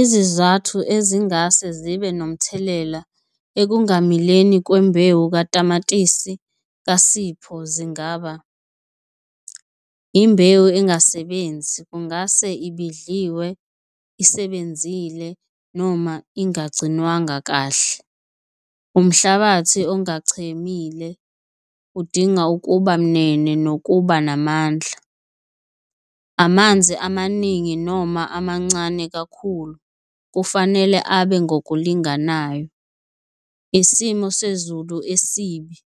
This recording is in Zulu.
Izizathu ezingase zibe nomthelela ekungamileni kwembewu katamatisi kaSipho zingaba imbewu engasebenzi kungase ibhidliwe isebenzile noma ingagcinwanga kahle. Umhlabathi ongachemile udinga ukuba munene nokuba namandla. Amanzi amaningi noma amancane kakhulu kufanele abe ngokulinganayo. Isimo sezulu esibi,